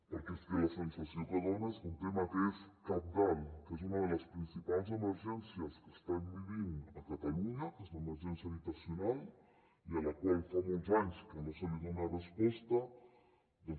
perquè és que la sensació que dona és que un tema que és cabdal que és una de les principals emergències que estem vivint a catalunya que és l’emergència habitacional i a la qual fa molts anys que no es dona resposta doncs